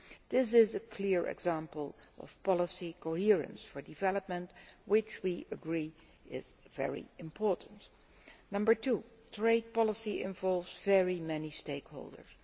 This is a clear example of policy coherence for development, which we agree is very important. Number two trade policy involves very many stakeholders.